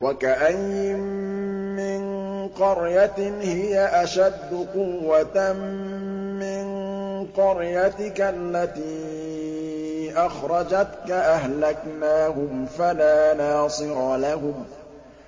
وَكَأَيِّن مِّن قَرْيَةٍ هِيَ أَشَدُّ قُوَّةً مِّن قَرْيَتِكَ الَّتِي أَخْرَجَتْكَ أَهْلَكْنَاهُمْ فَلَا نَاصِرَ لَهُمْ